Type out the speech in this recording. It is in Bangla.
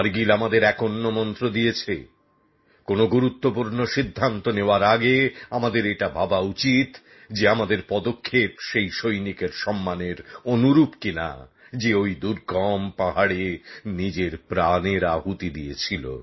কার্গিল আমাদের এক অন্য মন্ত্র দিয়েছে কোনো গুরুত্বপূর্ণ সিদ্ধান্ত নেওয়ার আগে আমাদের এটা ভাবা উচিত যে আমাদের পদক্ষেপ সেই সৈনিকের সম্মানের যোগ্য কিনা যে ওই দুর্গম পাহাড়ে নিজের প্রাণের আহুতি দিয়েছিল